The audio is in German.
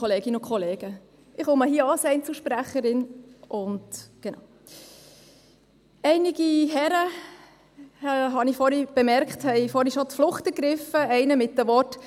Vorhin habe ich bemerkt, dass einige Herren bereits die Flucht ergriffen haben, einer mit den Worten: